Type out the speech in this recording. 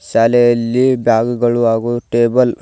ಶಾಲೆಯಲ್ಲಿ ಬ್ಯಾಗುಗಳು ಹಾಗು ಟೇಬಲ್ --